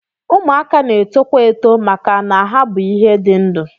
Ụmụaka na-etokwa eto maka na ha bụ ihe dị ndụ